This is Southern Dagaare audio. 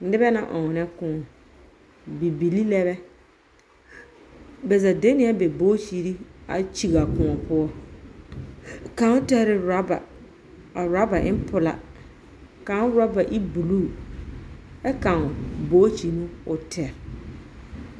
Nebɛ lɛ ɔŋnɛ kõɔ. Bibilii lɛ bɛ. Bɛ zaa de ne ɛ ba bookyiri a kyig a kõɔ poɔ. Kan tarɛ raba. A raba en pelaa. Kan raba e buluu. ɛ kan bookyi no o tɛr.